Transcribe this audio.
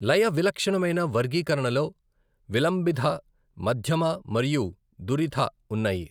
లయ విలక్షణమైన వర్గీకరణలో విలంబిథ, మధ్యమ మరియు ధురిథ ఉన్నాయి.